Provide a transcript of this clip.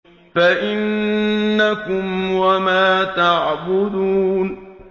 فَإِنَّكُمْ وَمَا تَعْبُدُونَ